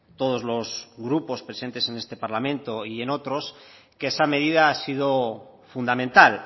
todos los grupos presentes en este parlamento y en otros que esa medida ha sido fundamental